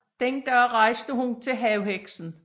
Den dag rejste hun til havheksen